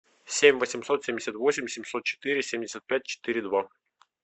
семь восемьсот семьдесят восемь семьсот четыре семьдесят пять четыре два